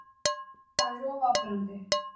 Það er of áberandi.